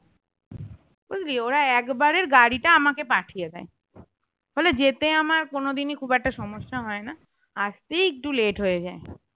বুঝলি ওরা একবারের গাড়িটা আমাকে পাঠিয়ে দেয়, ফলে যেতে আমার কোনো দিনই খুব একটা সমস্যা হয় না আসতেই একটু late হয়ে যায়